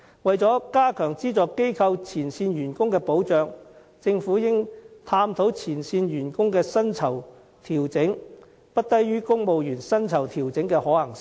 為了加強資助機構前線員工的保障，政府應探討前線員工的薪酬調整不低於公務員薪酬調整的可行性。